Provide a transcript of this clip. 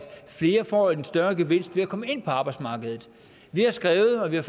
flere får en større gevinst ved at komme ind på arbejdsmarkedet vi har skrevet og vi har